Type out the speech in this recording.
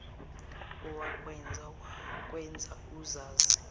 owakwenza wakwenza uzazi